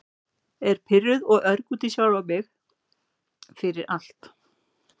Er pirruð og örg út í sjálfa sig fyrir- fyrir allt.